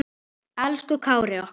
Elsku Kári okkar.